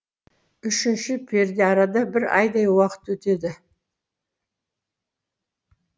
үшінші пердеарада бір айдай уақыт өтеді